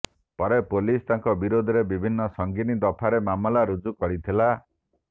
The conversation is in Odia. ପରେ ପୋଲିସ ତାଙ୍କ ବିରୋଧରେ ବିଭିନ୍ନ ସଂଗୀନ ଦଫାରେ ମାମଲା ରୁଜୁ କରିଥିଲା